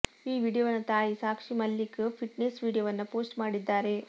ಈ ವಿಡಿಯೊವನ್ನ ತಾಯಿ ಸಾಕ್ಷಿ ಮಲ್ಲಿಕ್ ಫಿಟ್ನೆಸ್ ವಿಡಿಯೊವನ್ನ ಪೋಸ್ಟ್ ಮಾಡಿದ್ದಾರೆ